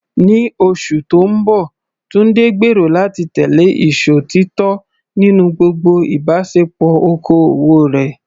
Ní oṣù tó ń bọ̀, Tunde gbèrò láti tẹ̀lé ìṣòtítọ́ nínú gbogbo ìbáṣepọ̀ okòwò rẹ̀.